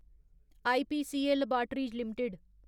IPCA laboratories limited